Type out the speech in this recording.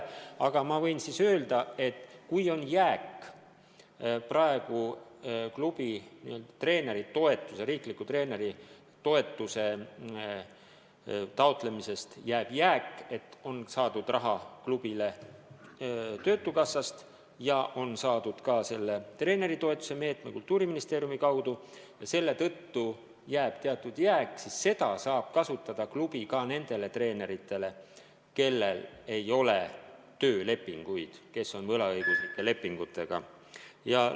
Aga ma võin öelda, et kui klubi n-ö riikliku treeneritoetuse taotlemisest jääb raha üle – klubile on saadud raha töötukassast ja ka selle treeneritoetuse meetme kaudu, mida Kultuuriministeerium organiseerib –, siis seda raha saab kasutada maksmiseks ka nendele treeneritele, kellel ei ole töölepinguid, vaid kes on töötanud võlaõiguslepingu alusel.